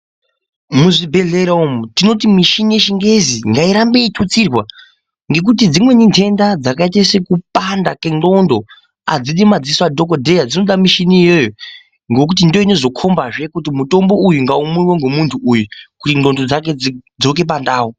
Muzvibhedhlera umu tinoti mushini wechingezi ngairambe yeitutsirwa nekuti dzimweni ndenda dzakaita sengonxo nemadziso adhokodheya emushini iwowongokuti ndoinozokomba kuti mutombo uyu ngaumwiwe nemuntu uyu kuti ngonxo dzake dzidzoke pandau.